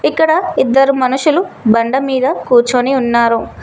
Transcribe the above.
ఇక్కడ ఇద్దరు మనుషులు బండమీద కూర్చొని ఉన్నారు.